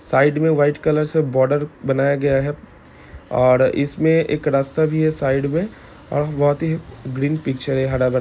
Side मे white colour से border बनाया गया है ओर इसमे एक रास्ता भी है साइड मे और बोहोत ही ग्रीन पिक्चर है हरा भरा।